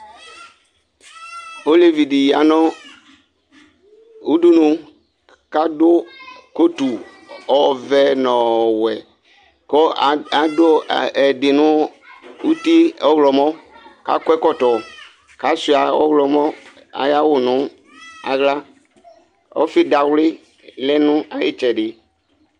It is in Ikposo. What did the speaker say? ɔlevʋidi yanu uɖunu kadu kotú ɔvɛ nɔwɛ ku aaadu ɛɛdinu nuti ɔhlɔmɔ kakɔɛkɔtɔ kashua ɔhlɔmɔ ayawu nu ahla ɔfi dawli lɛnayittsɛdi